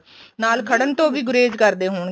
ਨਾਲ ਖੜਨ ਤੋਂ ਵੀ ਗੁਰੇਜ ਕਰਦੇ ਹੋਣਗੇ